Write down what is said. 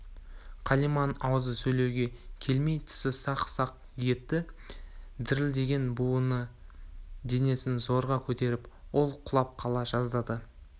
қалиманың аузы сөйлеуге келмей тісі сақ-сақ етті дірілдеген буыны денесін зорға көтеріп ол құлап қала жаздады